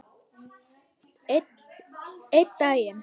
Einn daginn?